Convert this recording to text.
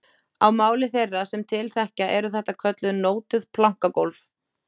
Á máli þeirra sem til þekkja eru þetta kölluð nótuð plankagólf